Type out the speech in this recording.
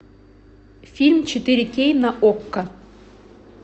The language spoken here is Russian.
фильм четыре кей на окко